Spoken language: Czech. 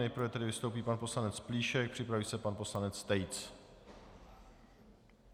Nejprve tedy vystoupí pan poslanec Plíšek, připraví se pan poslanec Tejc.